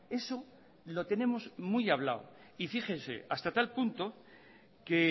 eso lo tenemos muy hablado y fíjense hasta tal punto que